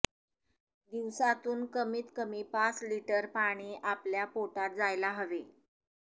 ः दिवसातून कमीत कमी पाच लिटर पाणी आपल्या पोटात जायला हवे